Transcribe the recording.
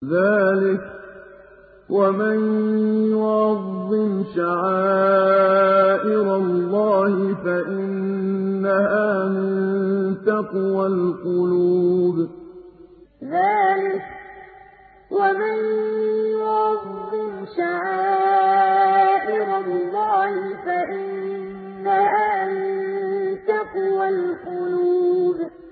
ذَٰلِكَ وَمَن يُعَظِّمْ شَعَائِرَ اللَّهِ فَإِنَّهَا مِن تَقْوَى الْقُلُوبِ ذَٰلِكَ وَمَن يُعَظِّمْ شَعَائِرَ اللَّهِ فَإِنَّهَا مِن تَقْوَى الْقُلُوبِ